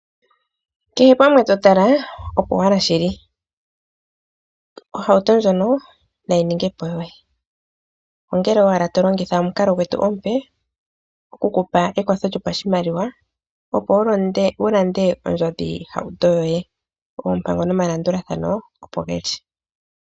Kehe pamwe to tala opo owala shili. Ohauto ndjono na yi ninge po yoye, ongele owala to longitha omukalo gwetu omupe okukupa ekwatho lyopashimaliwa opo wu lande ondjodhihauto yoye. Oompango nomalandulathano opo ge li.